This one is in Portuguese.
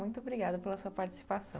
Muito obrigada pela sua participação.